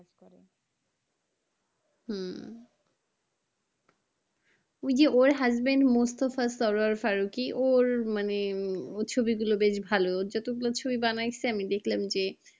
হুম ঐযে ওই husband মুস্তফা সরোয়ার ফারুকী ওর মানে আহ ওর ছবি গুলো বেশ ভালো যতগুলো ছবি বানাসে আমি দেখলাম যে